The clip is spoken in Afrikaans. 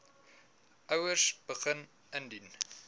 ouers begin indien